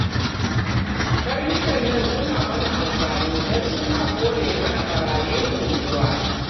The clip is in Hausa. Karnukan nan suna mana amfani don suna kore mana ɓarayin unguwa